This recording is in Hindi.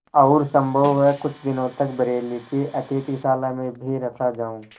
और सम्भव है कुछ दिनों तक बरेली की अतिथिशाला में भी रखा जाऊँ